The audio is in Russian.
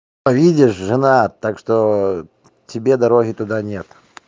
а видишь жена так что тебе дороги туда нет